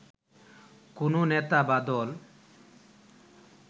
কোনও নেতা বা দল